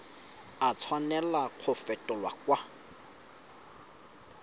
a tshwanela go fetolwa kwa